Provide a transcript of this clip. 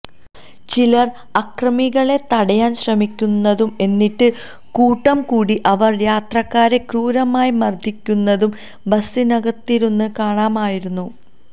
ചിലർ അക്രമികളെ തടയാൻ ശ്രമിക്കുന്നതും എന്നിട്ടും കൂട്ടം കൂടി അവർ യാത്രക്കാരെ ക്രൂരമായി മർദ്ദിക്കുന്നതും ബസിനകത്തിരുന്ന് കാണാമായിരുന്നു